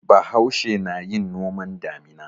Bahaushe na yin noman damina.